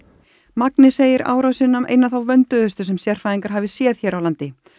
magni segir árásina eina þá vönduðustu sem sérfræðingar hafi séð hér á landi